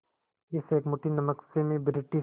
इस एक मुट्ठी नमक से मैं ब्रिटिश